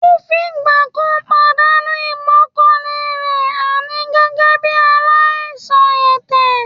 Kò fìgbà kan pàdánù ìgbọ́kànlé rẹ̀ àní gẹ́gẹ́ bí aláìsàn ẹ̀tẹ̀